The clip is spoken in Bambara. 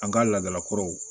An ka laadala kɔrɔw